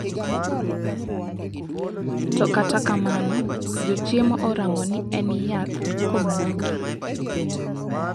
To kata kamano jochiemo oramo ni en yath kuomgi.